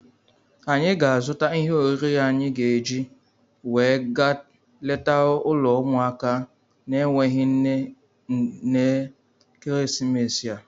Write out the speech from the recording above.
Anyị ga-azụta ihe oriri anyị ga-eji wee gaa leta ụlọ ụmụaka na-enweghị nne n'ekeresimesi a.